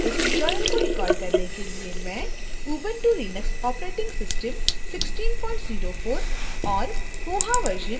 इस tutorial को record करने के लिए मैं ubuntu linux operating system 1604 और